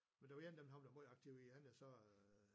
Men der var en af dem han blev meget aktiv i andet så